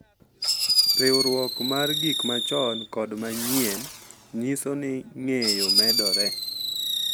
Riwruok mar gik machon kod ma manyien nyiso ni ng’eyo medore .